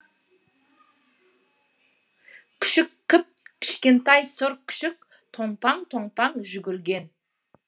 күшік кіп кішкентай сұр күшік томпаң томпаң жүгірген